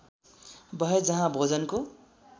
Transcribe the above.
भए जहाँ भोजनको